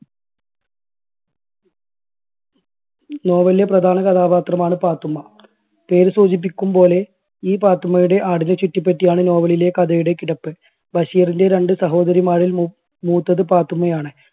novel ലെ പ്രധാന കഥാപാത്രമാണ് പാത്തുമ്മ പേര് സൂചിപ്പിക്കും പോലെ ഈ പാത്തുമ്മയുടെ ആടിനെ ചുറ്റിപ്പറ്റിയാണ് novel ലെ കഥയുടെ കിടപ്പ്. ബഷീറിൻറെ രണ്ട് സഹോദരിമാരിൽ മൂ~മൂത്തത് പാത്തുമ്മയാണ്.